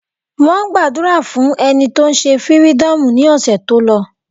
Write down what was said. Wọ́n gbàdúrà fún ẹni tó se fírídọ̀mù ní ọ̀sẹ̀ tó lọ.